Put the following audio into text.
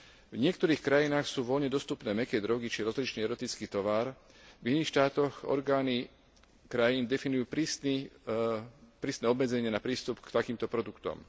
V niektorých krajinách sú voľne dostupné mäkké drogy či rozličný erotický tovar, v iných štátoch orgány krajín definujú prísne obmedzenie na prístup k takýmto produktom.